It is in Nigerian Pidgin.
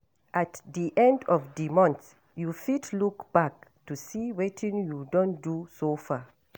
At di end of di month you fit look back to see wetin you don do so far